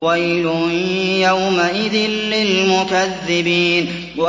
وَيْلٌ يَوْمَئِذٍ لِّلْمُكَذِّبِينَ